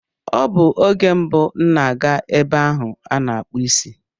Ọ bụ oge mbụ m na-aga ebe ahu ana akpu isi